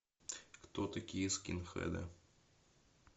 кто такие скинхеды